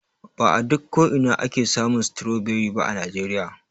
Ba a duk ko'ina ake samun stroberi ba a najeriya.